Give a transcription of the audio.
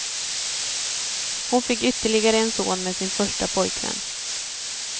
Hon fick ytterligare en son med sin första pojkvän.